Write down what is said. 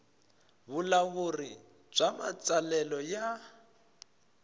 vulawuri bya matsalelo ya